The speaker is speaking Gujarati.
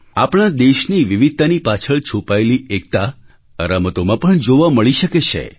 આપણા દેશની વિવિધતાની પાછળ છુપાયેલી એકતા આ રમતોમાં પણ જોવા મળી શકે છે